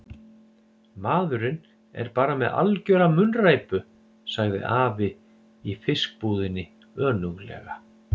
Maðurinn er bara með algjöra munnræpu sagði afi í fiskbúðinni önuglega.